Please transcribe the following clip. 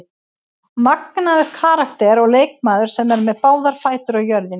Magnaður karakter og leikmaður sem er með báðar fætur á jörðinni.